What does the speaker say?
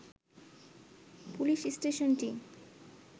police স্টেশনটি